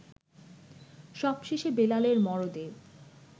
সবশেষে বেলালের মরদে